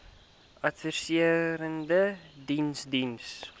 adviserende diens diens